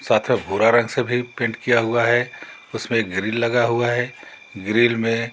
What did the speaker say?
साथ अ भूरा रंग से भी पेंट किया हुआ है उसमे ग्रिल लगा हुआ है ग्रिल में--